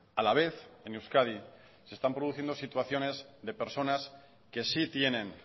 a la vez en euskadi se están produciendo situaciones de personas que sí tienen